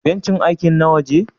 Bencin aikin na waje?